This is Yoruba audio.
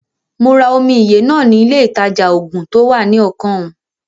Mo ra omi ìyè náà ni ilé ìtajà-oògùn to wá ní ọkàn ùn